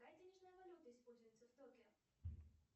какая денежная валюта используется в токио